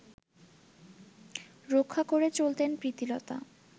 রক্ষা করে চলতেন প্রীতিলতা